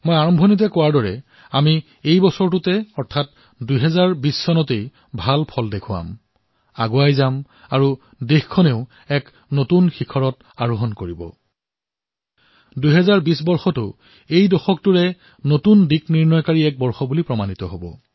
আৰম্ভণিতেই কোৱাৰ দৰে ২০২০তেই আমাৰ উন্নতি হব দেশে উচ্চতাৰ নতুন সীমা স্পৰ্শ কৰিব